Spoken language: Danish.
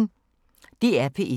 DR P1